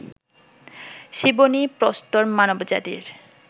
Ciboney, প্রস্তর মানব জাতির